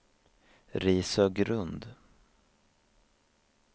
Risögrund